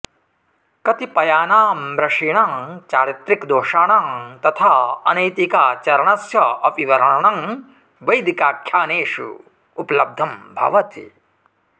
कतिपयानामृषीणां चारित्रिकदोषाणां तथा अनैतिकाचरणस्य अपि वर्णनं वैदिकाख्यानेषु उपलब्धं भवति